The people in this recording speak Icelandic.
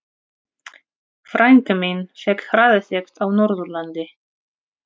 Frænka mín fékk hraðasekt á Norðurlandi.